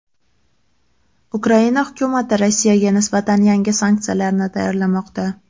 Ukraina hukumati Rossiyaga nisbatan yangi sanksiyalarni tayyorlamoqda.